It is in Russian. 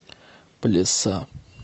плеса